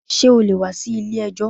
Ṣé o lè wá sí ilé ẹjọ́?